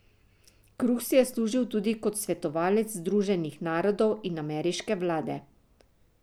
Kruh si je služil tudi kot svetovalec Združenih narodov in ameriške vlade.